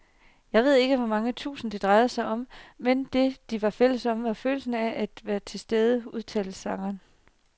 Jeg ved ikke hvor mange tusind, det drejede sig om, men det, de var fælles om, var følelsen af at være tilstede, udtaler sangeren.